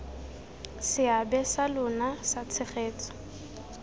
seabe sa lona sa tshegetso